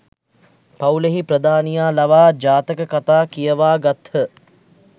පවුලෙහි ප්‍රධානියා ලවා ජාතක කතා කියවා ගත්හ.